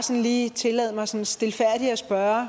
lige tillade mig sådan stilfærdigt at spørge